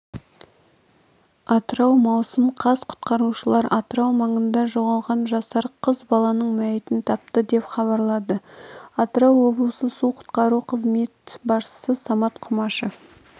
атырау маусым қаз құтқарушылар атырау маңында жоғалған жасар қыз баланың мәйітін тапты деп хабарлады атырау облысы су-құтқару қызметі басшысы самат құмашев